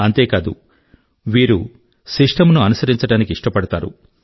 అంతే కాదు వీరు సిస్టమ్ ను అనుసరించడానికి ఇష్టపడతారు